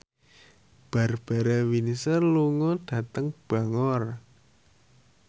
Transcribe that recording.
Barbara Windsor lunga dhateng Bangor